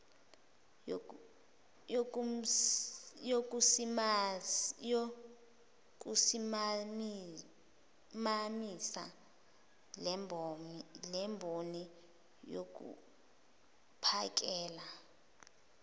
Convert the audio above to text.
yokusimamisa lemboni yokuphakela